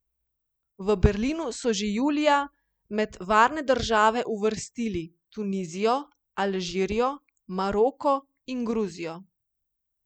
V Berlinu so že julija med varne države uvrstili Tunizijo, Alžirijo, Maroko in Gruzijo.